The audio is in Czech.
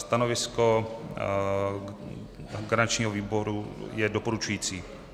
Stanovisko garančního výboru je doporučující.